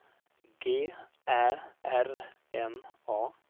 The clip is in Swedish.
G Ä R N A